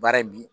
Baara in bi